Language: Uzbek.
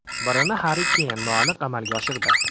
Birini Harri Keyn noaniq amalga oshirdi.